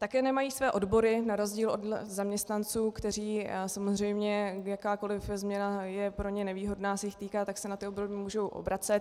Také nemají své odbory na rozdíl od zaměstnanců, kteří samozřejmě - jakákoliv změna je pro ně nevýhodná, se jich týká, tak se na ty odbory mohou obracet.